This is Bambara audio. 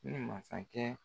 Ne ni mansa kɛ